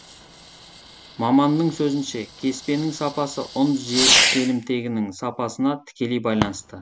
маманның сөзінше кеспенің сапасы ұн желімтегінің сапасына тікелей байланысты